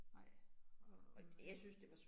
Nej, og og noget